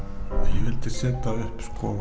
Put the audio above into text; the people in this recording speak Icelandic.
ég vildi setja upp